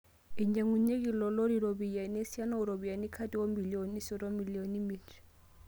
Einyang'unyieki ilo lori ropiyiani esiana oo ropiyiani kati oo milioni siet o milioni miet